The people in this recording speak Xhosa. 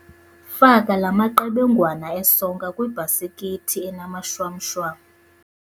Faka la maqebengwana esonka kwibhasikithi enamashwamshwam.